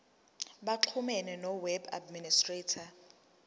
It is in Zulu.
baxhumane noweb administrator